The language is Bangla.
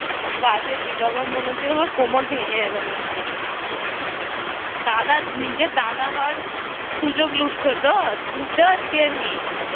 বাজে ছিল আমার মনে হচ্ছিলো আমার কোমর ভেঙে যাবে মনে হয় দাদা নিজের দাদা হওয়ার ভালোই ভালোই সুযোগ লুটেছো তো বুঝতে পারছি আমি